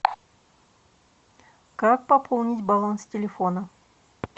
как пополнить баланс телефона